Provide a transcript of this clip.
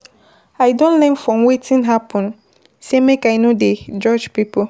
I don learn from wetin happen sey make I no dey judge pipo.